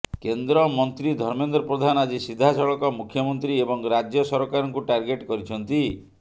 କେନ୍ଦ୍ରମନ୍ତ୍ରୀ ଧର୍ମେନ୍ଦ୍ର ପ୍ରଧାନ ଆଜି ସିଧାସଳଖ ମୁଖ୍ୟମନ୍ତ୍ରୀ ଏବଂ ରାଜ୍ୟ ସରକାରଙ୍କୁ ଟାର୍ଗେଟ କରିଛନ୍ତି